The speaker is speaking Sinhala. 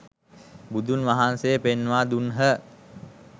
බුදුන් වහන්සේ පෙන්වා දුන්හ.